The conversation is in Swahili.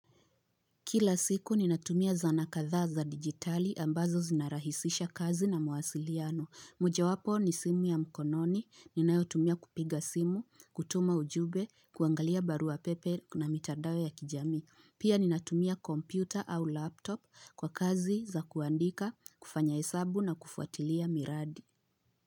Kila siku ninatumia zana kadhaa za digitali ambazo zinarahisisha kazi na mwasiliano. Mojawapo ni simu ya mkononi, ninayotumia kupiga simu, kutuma ujube, kuangalia barua pepe na mitandao ya kijami. Pia ninatumia kompyuta au laptop kwa kazi za kuandika, kufanya hesabu na kufuatilia miradi.